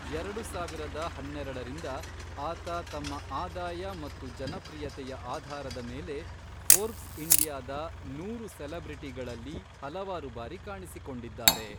ಎರಡು ಸಾವಿರದ ಹನ್ನೆರಡರಿಂದ, ಆತ ತಮ್ಮ ಆದಾಯ ಮತ್ತು ಜನಪ್ರಿಯತೆಯ ಆಧಾರದ ಮೇಲೆ ಫೋರ್ಬ್ಸ್ ಇಂಡಿಯಾದ ನೂರು ಸೆಲೆಬ್ರಿಟಿಗಳಲ್ಲಿ ಹಲವಾರು ಬಾರಿ ಕಾಣಿಸಿಕೊಂಡಿದ್ದಾರೆ.